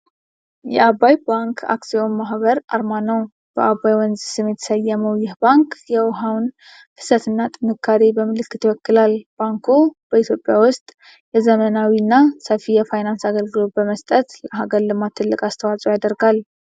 የዓባይ ባንክ አክሲዮን ማኅበር አርማ ነው። በዓባይ ወንዝ ስም የተሰየመው ይህ ባንክ፤ የውኃውን ፍሰትና ጥንካሬ በምልክት ይወክላል። ባንኩ በኢትዮጵያ ውስጥ የዘመናዊና ሰፊ የፋይናንስ አገልግሎት በመስጠት፤ ለአገር ልማት ትልቅ አስተዋፅዖ ያደርጋል።